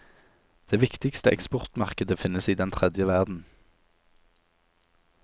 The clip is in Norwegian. Det viktigste eksportmarkedet finnes i den tredje verden.